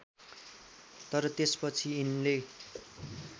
तर त्यसपछि यिनको